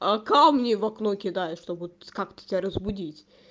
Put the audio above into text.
а камни в окно кидает чтобы вот как-то тебя разбудить